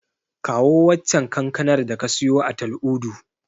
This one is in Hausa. Kawo waccen kankanar da ka siyo a Tal'udu.